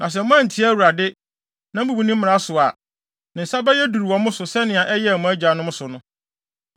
Na sɛ moantie Awurade, na mubu ne mmara so a, ne nsa bɛyɛ duru wɔ mo so sɛnea ɛyɛɛ mo agyanom so no.